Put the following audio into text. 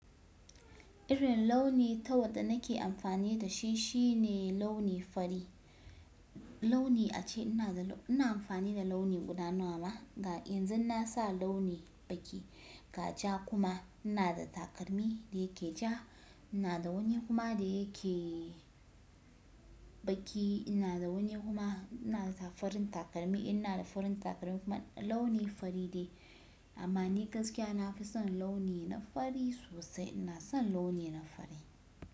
Irin launi ta wadda nake amfani da shi shine launi fari. Launi ace ina da, ina amfani da launi guda nawa ma ga yanzu na sa launi baki ga ja kuma ina da takalmi da yake ja. Ina da wani kuma da yake baki. Ina da wani kuma ina da farin takalmi. Ina da farin takalmi kuma launi fari de amma ni gaskiya nafi son launi na fari sosai. Ina son launi na fari.